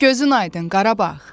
Gözün aydın Qarabağ.